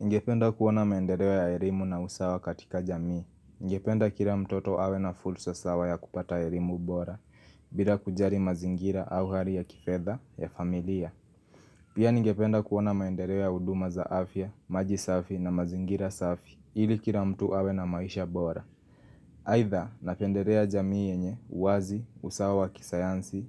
Ningependa kuona maendeleo ya elimu na usawa katika jamii. Ningependa kila mtoto awe na fursa sawa ya kupata elimu bora, bila kujali mazingira au hali ya kifedha ya familia. Pia ningependa kuona maendeleo ya huduma za afya, maji safi na mazingira safi, ili kila mtu awe na maisha bora. Aidha napendelea jamii yenye uwazi, usawa wa kisayansi,